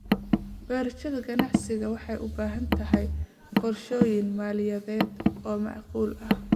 Beerashada ganacsigu waxay u baahan tahay qorshooyin maaliyadeed oo macquul ah.